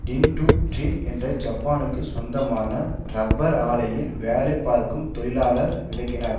டின் டு ட்ரின் என்ற ஜப்பானுக்கு சொந்தமான ரப்பர் ஆலையில் வேலை பார்க்கும் தொழிலாளர் விளக்கினார்